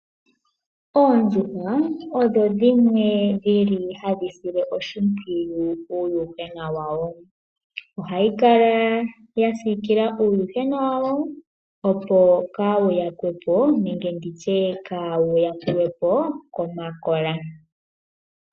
Oondjuhwa odho dhinwe hadhi sile oshimpwiyu uuyuhwena wadho. Ohadhi dhasiikila uuyuhwena wadho, opo kaawu yakwe po nenge okuyakulwa po komakola.